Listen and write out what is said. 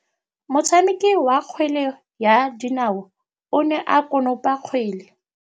Motshameki wa kgwele ya dinaô o ne a konopa kgwele.